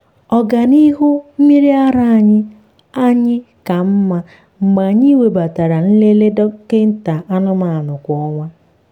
ọganihu mmiri ara anyị anyị ka mma mgbe anyị webatara nlele dọkịta anụmanụ kwa ọnwa.